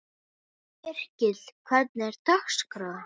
Yrkill, hvernig er dagskráin?